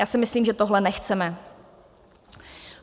Já si myslím, že tohle nechceme.